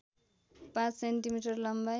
५ centimetre लम्बाइ